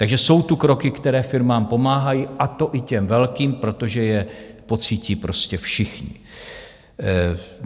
Takže jsou tu kroky, které firmám pomáhají, a to i těm velkým, protože je pocítí prostě všichni.